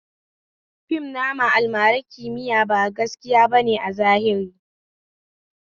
Fim nama almarar kimiya ba gaskiya bane a zahiri